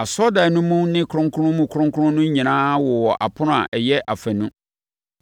Asɔredan no mu ne Kronkron Mu Kronkron no nyinaa wowɔ apono a ɛyɛ afanu.